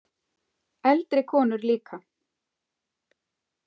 Eldri konur líka.